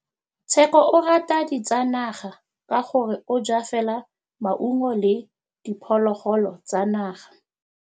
Tshekô o rata ditsanaga ka gore o ja fela maungo le diphologolo tsa naga.